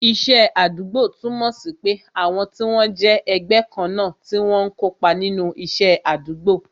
Iṣẹ́ àdúgbò túmọ̀ sí pé àwọn tí wọ́n jẹ́ ẹgbẹ́ kan náà tí wọ́n ń kópa nínú isẹ àdúgbò